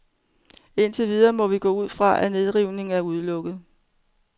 Indtil videre må vi gå ud fra, at nedrivning er udelukket.